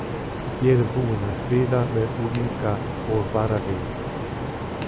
Ég er búinn að spila með unglinga og varaliðinu.